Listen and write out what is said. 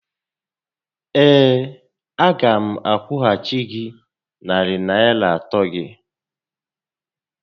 Ee. a gá m akwụghachi gị narị Naịra atọ gị